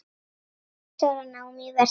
Sex ára nám í Versló.